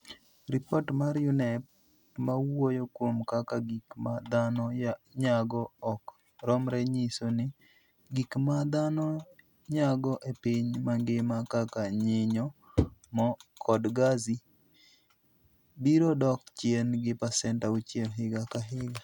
Ripot mar UNEP ma wuoyo kuom kaka gik ma dhano nyago ok romre nyiso ni gik ma dhano nyago e piny mangima, kaka nyinyo, mo, kod gazi, biro dok chien gi pasent 6 higa ka higa.